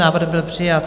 Návrh byl přijat.